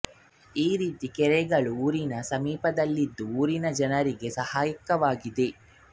ಈ ರೀತಿ ಕೆರೆಗಳು ಊರಿನ ಸಮೀಪದಲ್ಲಿದ್ದು ಊರಿನ ಜನರಿಗೆ ಸಹಾಯಕವಾಗಿದೆ